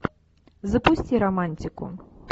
запусти романтику